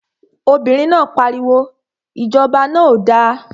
Obìnrin náà pariwo, Ìjọba náà ò da!